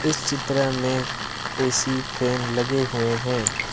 इस चित्र में ए_सी फैन लगे हुए हैं।